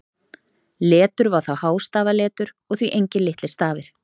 Letur var þá hástafaletur og því engir litlir stafir.